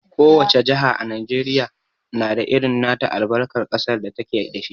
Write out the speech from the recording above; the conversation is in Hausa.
Ko wace jaha a Najeriya na da irin nata albarkar ƙasar da ta ke da shi.